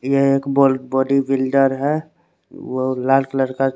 यह एक बोडी बोडी फिल्डर है वो लाल कलर का--